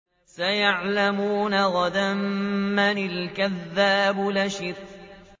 سَيَعْلَمُونَ غَدًا مَّنِ الْكَذَّابُ الْأَشِرُ